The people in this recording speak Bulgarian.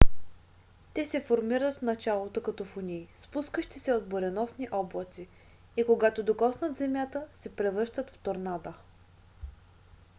те се формират в началото като фунии спускащи се от буреносни облаци и когато докоснат земята се превръщат в торнада